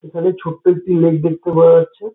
এখানে ছোট্ট একটি লেক দেখতে পাওয়া যাচ্ছে।